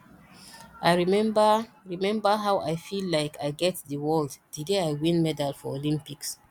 i remember remember how i feel like i get the world the day i win gold medal for olympics